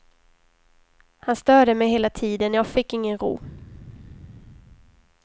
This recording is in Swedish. Han störde mig hela tiden, jag fick ingen ro.